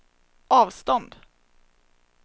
avstånd